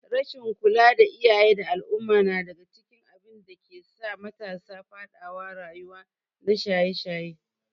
rasshin kula na iyaye da al umma nadaga cikin abinda dakesa matasa fadawa rayuwa na shaye shaye